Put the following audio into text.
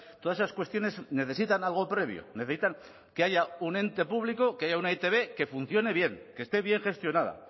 todas esas cuestiones necesitan algo previo necesitan que haya un ente público que haya una e i te be que funcione bien que esté bien gestionada